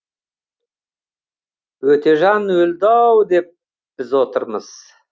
өтежан өлді ау деп біз отырмыз